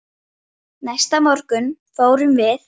Næsta morgun fórum við